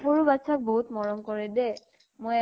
সৰু বাচ্ছা ক বহুত মৰম কৰে দেই । মই